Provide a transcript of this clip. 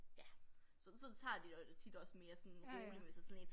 Ja så så tager de det også tit også mere sådan roligt men hvis det sådan lidt